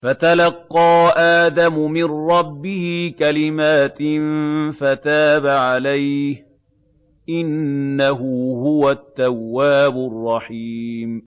فَتَلَقَّىٰ آدَمُ مِن رَّبِّهِ كَلِمَاتٍ فَتَابَ عَلَيْهِ ۚ إِنَّهُ هُوَ التَّوَّابُ الرَّحِيمُ